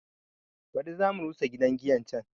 Baɗi za mu rusa gidan giyan can